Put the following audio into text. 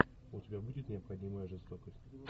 у тебя будет необходимая жестокость